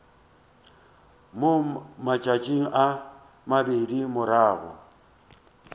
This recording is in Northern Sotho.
mo matšatšing a mabedi morago